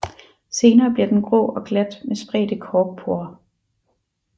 Senere bliver den grå og glat med spredte korkporer